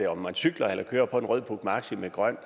om man cykler eller kører på en rød puch maxi med grøn